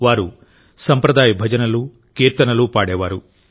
వారు సంప్రదాయ భజనలు కీర్తనలు పాడేవారు